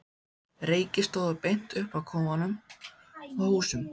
Reykir stóðu beint upp af kofum og húsum.